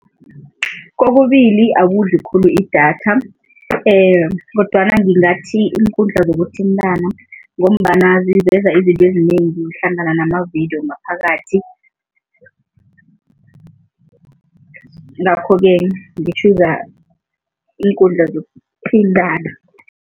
Kokubili akudli khulu idatha kodwana ngingathi iinkundla zokuthintana ngombana ziveza izinto ezinengi hlangana namavidiyo ngaphakathi, ngakho-ke ngi-choose iinkundla zokuthintana.